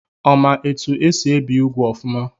Ọ ma etu esi ebi úgwù ọfụma?